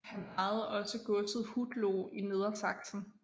Han ejede også godset Hutloh i Nedersaksen